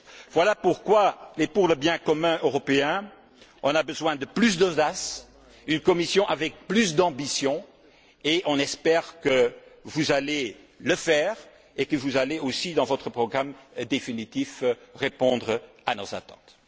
Voilà pourquoi, pour le bien commun européen, nous avons besoin de plus d'audace, d'une Commission avec plus d'ambition, et nous espérons que vous allez le faire et que vous allez aussi, dans votre programme définitif, répondre à nos attentes.